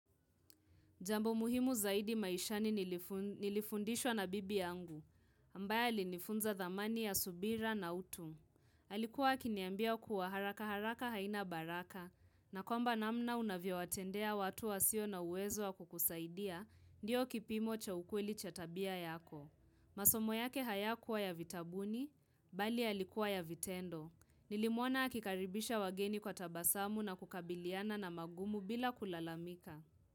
Jambo muhimu zaidi maishani nilifundishwa na bibi yangu, ambaye alinifunza dhamani ya subira na utu. Alikuwa akiniambia kuwa haraka haraka haina baraka, na kwamba namna unavyowatendea watu wasio na uwezo wa kukusaidia, ndiyo kipimo cha ukweli cha tabia yako. Masomo yake hayakuwa ya vitabuni, bali yalikuwa ya vitendo. Nilimwona akikaribisha wageni kwa tabasamu na kukabiliana na mangumu bila kulalamika.